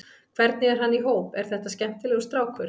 Hvernig er hann í hóp, er þetta skemmtilegur strákur?